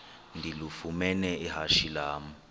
ndilifumene ihashe lam